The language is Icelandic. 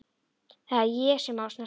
Það er ég sem á að snerta þig.